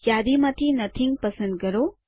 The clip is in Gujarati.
યાદી માંથી નોથિંગ પસંદ કરો